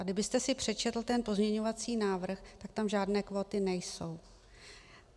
A kdybyste si přečetl ten pozměňovací návrh, tak tam žádné kvóty nejsou.